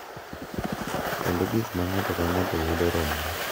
Kendo gik ma ng’ato ka ng’ato yudo romore,